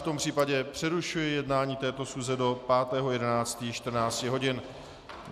V tom případě přerušuji jednání této schůze do 5. 11. 14 hodin.